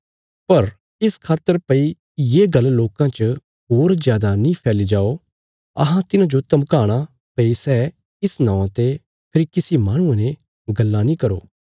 पर इस खातर भई ये गल्ल लोकां च होर जादा नीं फैल्ली जाओ अहां तिन्हांजो धमकाणा भई सै इस नौवां ते फेरी किसी माहणुये ने गल्लां नीं करो